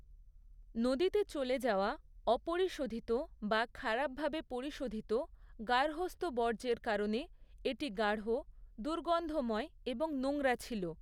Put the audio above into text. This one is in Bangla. নদীতে চলে যাওয়া অপরিশোধিত বা খারাপভাবে পরিশোধিত গার্হস্থ্য বর্জ্যের কারণে এটি গাঢ়, দুর্গন্ধময় এবং নোংরা ছিল।